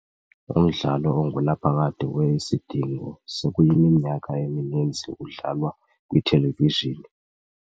Umdlalo ongunaphakade we-Isidingo sekuyiminyaka emininzi udlalwa kwithelevizhini.